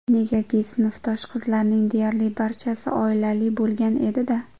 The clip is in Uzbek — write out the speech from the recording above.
Negaki, sinfdosh qizlarning deyarli barchasi oilali bo‘lgan edi-da.